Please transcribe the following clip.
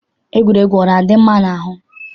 Egwuregwu ana-adị mma n'ahụ?